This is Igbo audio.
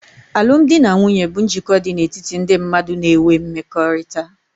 Alụmdi na nwunye bụ njikọ dị n'etiti ndị mmadụ na'ewe mmekọrịta